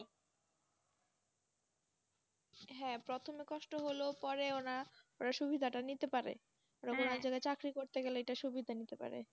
হ্যাঁ, প্রথমে কষ্ট হলেও পরে ওরা সুবিধা টা নিতে পারে। চাকরি করতে গেলে এটার সুবিধা নিতে পারে।